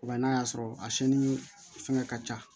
Wa n'a y'a sɔrɔ a siyɛnni fɛngɛ ka ca